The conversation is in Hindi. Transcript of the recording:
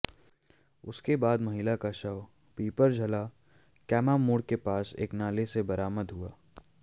उसके बाद महिला का शव पिपरझला कैमा मोड़ के पास एक नाले से बरामद हुआ